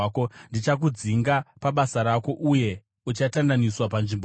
Ndichakudzinga pabasa rako, uye uchatandaniswa panzvimbo yako.